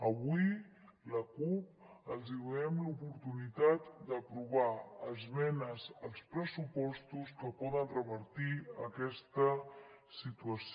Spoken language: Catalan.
avui la cup els donem l’oportunitat d’aprovar esmenes als pressupostos que poden revertir aquesta situació